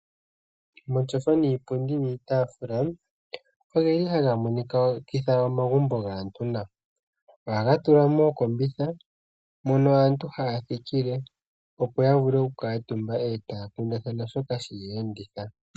Omatyofa niipundi niitafula ogeli haga monikitha omagumbo gaantu nawa ohaga tulwa mookombitha moka aantu haya thikile opo yavule okukaatumba ee taya kundathana shoka sheya enditha.